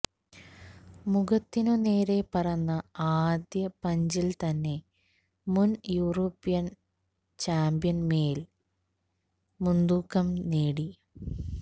മുഖത്തിനുനേരെ പറന്ന ആദ്യ പഞ്ചില് തന്നെ മുന് യൂറോപ്യന് ചാമ്പ്യനുമേല് മുന്തൂക്കം നേടി